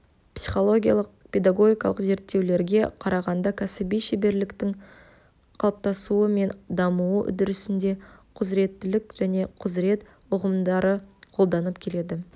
психологиялық-педагогикалық зерттеулерге қарағанда кәсіби шеберліктің қалыптасуы мен дамуы үдерісінде құзыреттілік және құзырет ұғымдары қолданылып келеді